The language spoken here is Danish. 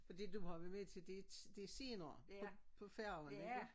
Det du har været med til det det senere på på færgen ikke?